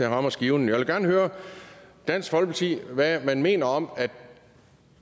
rammer skiven jeg vil gerne høre dansk folkeparti hvad man mener om at det